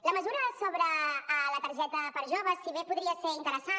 la mesura sobre la targeta per a joves si bé podria ser interessant